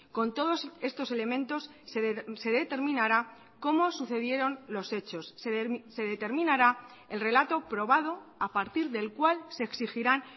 con todos estos elementos se determinará cómo sucedieron los hechos se determinará el relato probado a partir del cual se exigirán